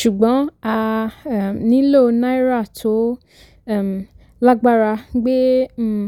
ṣùgbọ́n a um nílò náírà tó um lágbára gbé um